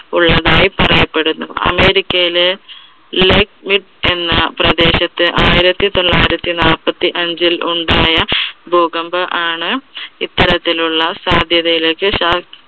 ഉള്ളതായി പറയപ്പെടുന്നു. അമേരിക്കയിലെ എന്ന പ്രദേശത്ത് ആയിരത്തി തൊള്ളായിരത്തി നാപ്പത്തി അഞ്ചിൽ ഉണ്ടായ ഭൂകമ്പം ആണ് ഇത്തരത്തിൽ ഉള്ള സാധ്യതിയിലേക്ക്